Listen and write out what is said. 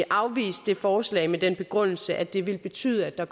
afvist det forslag med den begrundelse at det ville betyde at der